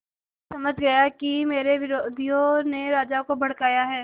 वह समझ गया कि मेरे विरोधियों ने राजा को भड़काया है